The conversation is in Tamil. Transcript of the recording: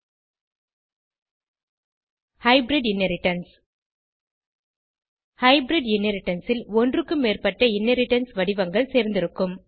and hybrid inheritance hybrid inheritance ல் ஒன்றுக்கும் மேற்பட்ட இன்ஹெரிடன்ஸ் வடிவங்கள் சேர்ந்திருக்கும்